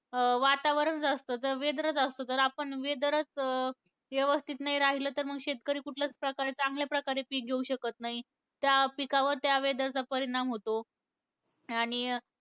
अं वातावरण असतं, तर weather च असतं. जर आपण weather च यवस्थित नाही राहिलं तर, मग शेतकरी कुठल्याच प्रकारे, चांगल्या प्रकारे पिक घेऊ शकत नाही. त्या पिकावर त्या weather चा परिणाम होतो. आणि